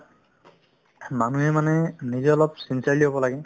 মানুহে মানে নিজে অলপ চিন্তাশীল হ'ব লাগে